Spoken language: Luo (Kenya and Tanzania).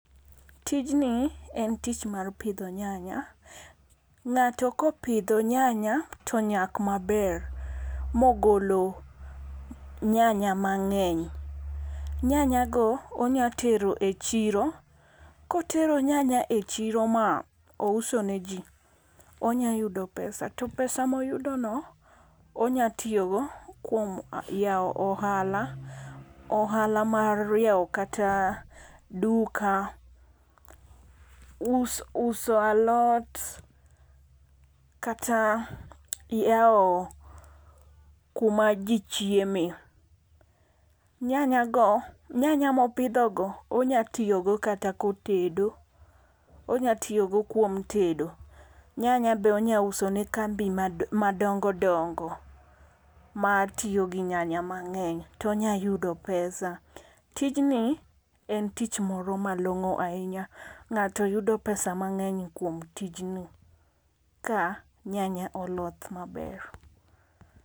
Tijni en tich mar pidho nyanya. Ng'ato kopidho nyanya to nyak maber mogolo nyanya mang'eny. Nyanya go onya tero e chiro. Kotero nyanya e chiro ma ouso ne ji, onya yudo pesa. To pesa moyudo no onya tiyogo kuom yaw ohala. Ohala mar yaw kata duka, uso alot, kata yaw kuma ji chieme. Nyanya go nyanya mopidho go onya tiyogo kata kotedo. Onya tiyo go kuom tedo. Nyanya be onya uso ne kambi madongo dongo matiyo gi nyanya mang'eny to onyayudo pesa. Tijni e tich moro malong'o ahinya. Ng'ato yudo pesa mang'eny kuom tijni ka nyanya oloth maber.